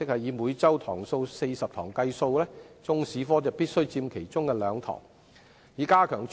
以每周40堂來計算，中史科必須佔其中兩節課堂。